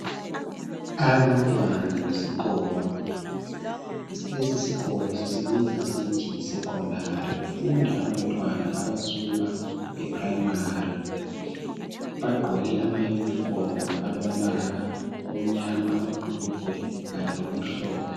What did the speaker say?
abantwana besikolo lesi sikolo sisibiza sisithi yisecondary, kufunda abantwana abasuka eprimary bagqoke ama unifomu alombala omnyama amabhulugwe kanye lokumhlophe.